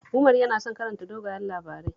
Umar yana son karanta dogayen labarai